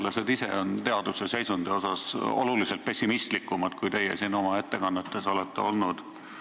Teadlased ise on teaduse seisundi asjus oluliselt pessimistlikumad, kui teie oma ettekannetes olete olnud.